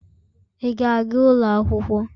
Ị ga-aga ụlọ akwụkwọ?.